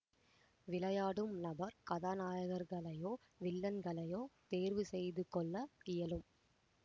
விளையாடும் நபர் கதாநாயகர்களையோ வில்லன்களையோ தேர்வு செய்து கொள்ள இயலும்